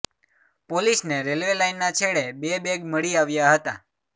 પોલીસને રેલવે લાઈનના છેડે બે બેગ મળી આવ્યા હતા